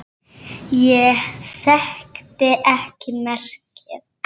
Ég þekkti ekki merkið.